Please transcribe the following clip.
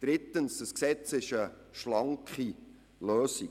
Drittens ist das Gesetz eine schlanke Lösung.